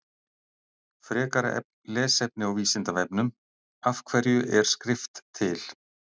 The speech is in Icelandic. Frekara lesefni á Vísindavefnum Af hverju er skrift til?